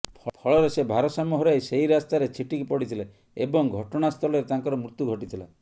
ଫଳରେ ସେ ଭାରସାମ୍ୟ ହରାଇ ସେଇ ରାସ୍ତାରେ ଛିଟିକି ପଡିଥିଲେ ଏବଂ ଘଟଣାସ୍ଥଳରେ ତାଙ୍କର ମୃତ୍ୟୁ ଘଟିଥିଲା